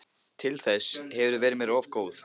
Til þess hefurðu verið mér of góð.